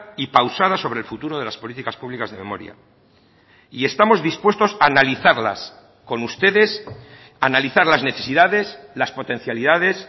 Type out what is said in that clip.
y pausada sobre el futuro de las políticas públicas de memoria y estamos dispuestos analizarlas con ustedes analizar las necesidades las potencialidades